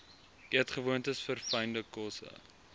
eetgewoontes verfynde kosse